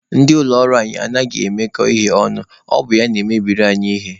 Ndị ụlọ ọrụ anyị anaghị emekọ ihe ọnụ, ọ bịa na-emebiri anyị ihe.